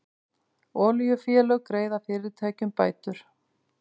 Olíufélög greiða fyrirtækjum bætur